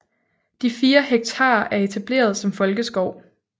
De fire hektar er etableret som folkeskov